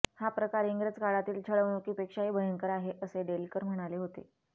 हा प्रकार इंग्रज काळातील छळवणुकीपेक्षाही भयंकर आहे असे डेलकर म्हणाले होते